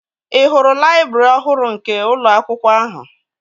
Ị hụrụ laịbrị ọhụrụ nke ụlọ akwụkwọ ahụ?